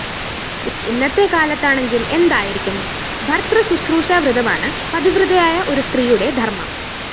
ഇന്നത്തെ കാലത്താണെങ്കില്‍ എന്തായിരിക്കും! ഭര്‍തൃശൂശ്രൂഷാവ്രതമാണ് പതിവ്രതയായ ഒരു സ്ത്രീയുടെ ധര്‍മ്മം